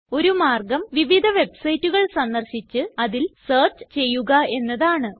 ഒരു മാർഗം വിവിധ വെബ്സൈറ്റുകൾ സന്ദർശിച്ച് അതിൽ സെർച്ച് ചെയ്യുക എന്നതാണ്